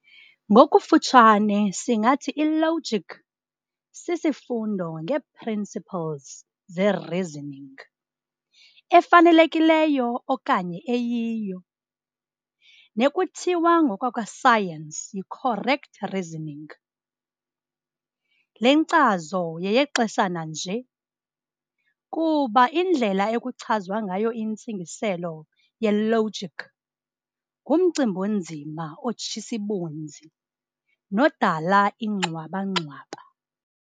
Ngokufutshane singathi i-logic sisifundo ngeeprinciples ze-"reasoning" efanelekileyo okanye eyiyo, nekuthiwa ngokwakwa science yi-"correct reasoning". Le nkcazo yeyexeshana nje kuba indlela ekuchazwa ngayo intsingiselo ye-logic ngumcimb'onzima otshis'ibunzi nodala ingxwaba-ngxwaba.